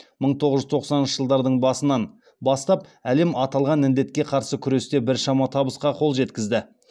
мың тоғыз жүз тоқсаныншы жылдардың басынан бастап әлем аталған індетке қарсы күресте біршама табысқа қол жеткізді